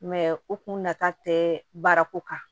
u kun nata tɛ baara ko kan